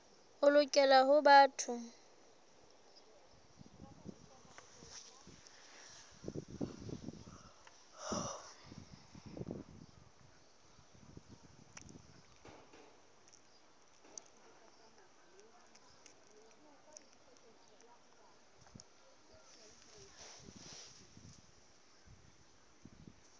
o lokela ho ba motho